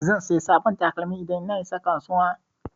Zan saya sabon takalmi idan na isa kasuwa